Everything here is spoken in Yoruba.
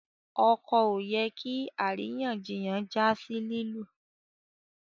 ọkọ ọ yẹ kí àríyànjiyàn já sí lilu